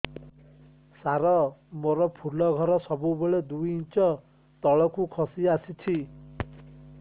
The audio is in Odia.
ସାର ମୋର ଫୁଲ ଘର ସବୁ ବେଳେ ଦୁଇ ଇଞ୍ଚ ତଳକୁ ଖସି ଆସିଛି